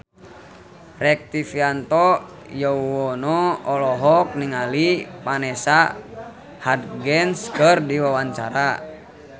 Rektivianto Yoewono olohok ningali Vanessa Hudgens keur diwawancara